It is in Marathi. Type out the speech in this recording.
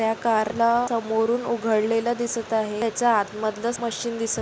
या कार ला समोरून उघडलेला दिसत आहे त्याचा आत मधलाच मशीन दिसत--